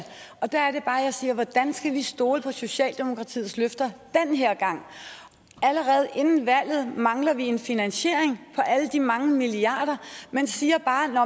og der er det bare jeg siger hvordan skal vi stole på socialdemokratiets løfter den her gang allerede inden valget mangler vi en finansiering for alle de mange milliarder man siger bare